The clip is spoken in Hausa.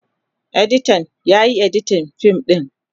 Editan, Yana editin fim din.